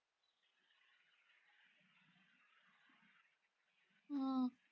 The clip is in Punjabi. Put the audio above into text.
ਹਮ